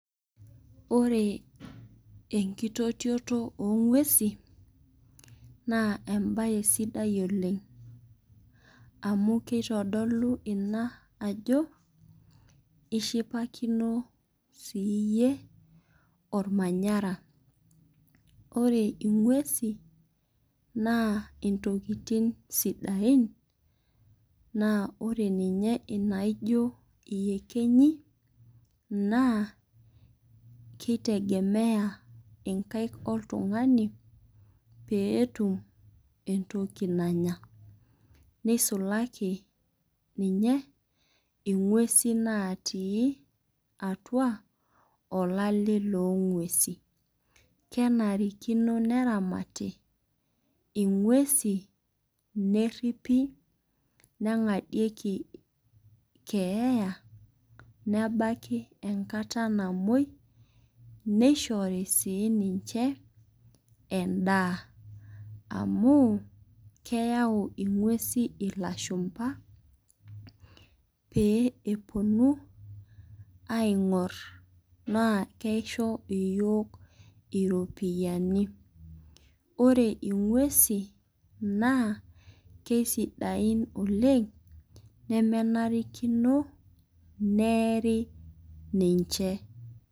ore ekitotioto o nguesin naa ebae sidai oleng. amu kitdlou ina ajo ishipakino siiyie olmanyara. ore inguesi, naa ntokitin sidain, naa ore ninye inaijo iyekenyi. naa kitegemeya nkaik oltungani pee etum entoki nanya. neisulaki ninye nguesi natii atua olale loo nguesi. kenatikino neramati inguesi. neripi, nengadieki keeya. nebaki enkata namuoi. neshori sii ninche edaa. amu keya neeu ing'uesi ilashupa pee epuonu aing'or naa kisho iyiook iropiyiani. ore inguesi naa kisdiain oleng nemenarikino neeri niche.